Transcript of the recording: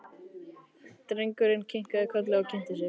Drengurinn kinkaði kolli og kynnti sig.